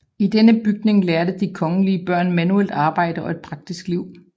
I denne bygning lærte de kongelige børn manuelt arbejde og praktisk liv